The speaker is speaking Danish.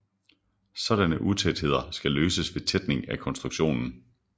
Sådanne utætheder skal løses ved tætning af konstruktionen